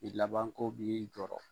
I laban ko b'i jɔrɔ.